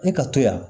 E ka to yan